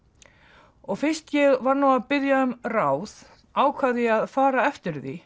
og fyrst ég var nú að biðja um ráð ákvað ég að fara eftir því